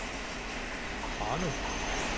Ranum